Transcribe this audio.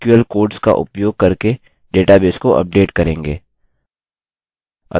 आगे हम नये sql कोड्स का उपयोग करके डेटाबेस को अपडेट करेंगे